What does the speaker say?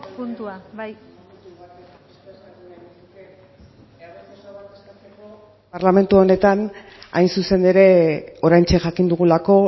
puntua bai parlamentu honetan hain zuzen ere oraintxe jakin dugulako